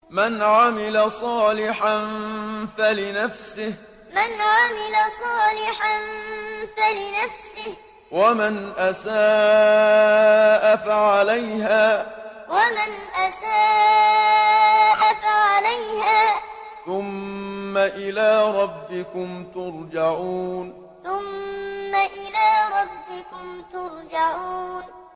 مَنْ عَمِلَ صَالِحًا فَلِنَفْسِهِ ۖ وَمَنْ أَسَاءَ فَعَلَيْهَا ۖ ثُمَّ إِلَىٰ رَبِّكُمْ تُرْجَعُونَ مَنْ عَمِلَ صَالِحًا فَلِنَفْسِهِ ۖ وَمَنْ أَسَاءَ فَعَلَيْهَا ۖ ثُمَّ إِلَىٰ رَبِّكُمْ تُرْجَعُونَ